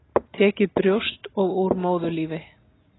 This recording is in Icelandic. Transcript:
Tekið brjóst og úr móðurlífi.